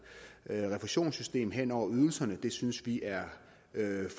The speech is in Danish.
refusionssystem hen over ydelserne det synes vi er